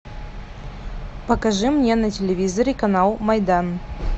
покажи мне на телевизоре канал майдан